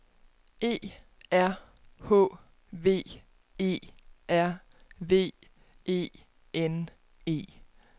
E R H V E R V E N E